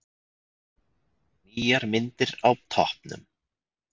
Nýjar myndir á toppnum